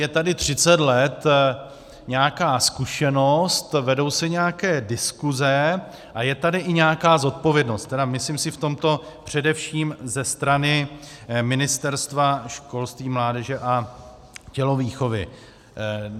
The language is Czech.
Je tady 30 let nějaká zkušenost, vedou se nějaké diskuse a je tady i nějaká zodpovědnost, tedy myslím si v tomto především ze strany Ministerstva školství, mládeže a tělovýchovy.